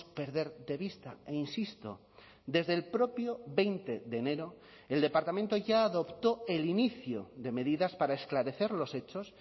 perder de vista e insisto desde el propio veinte de enero el departamento ya adoptó el inicio de medidas para esclarecer los hechos